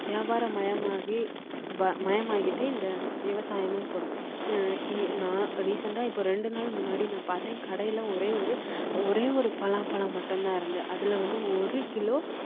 வியாபாரம் மயமாகி மயமாயிட்டு இந்த விவசாயமும் கூட recent ஆ இப்போ ரெண்டு நாள் முன்னாடி நான் பார்த்தேன் கடையில ஒரே ஒரு ஒரே ஒரு பலாப்பழம் மட்டும் தான் இருந்தது அதுல வந்து ஒரு கிலோ